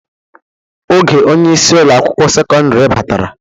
Oge onyeisi Ụlọ akwụkwọ sekọndrị batara.